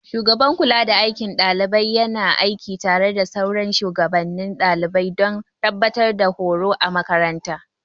Shugaban kulada aikin ɗalibai yana aiki tare da sauran shugabannin daliban don tabbatar da horo a makarantar.